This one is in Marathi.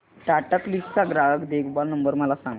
टाटा क्लिक चा ग्राहक देखभाल नंबर मला सांगा